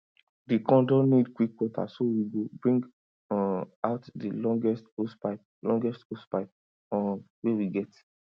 the corn don need quick water so we go bring um out the longest hosepipe longest hosepipe um wey we get